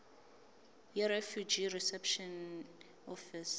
yirefugee reception office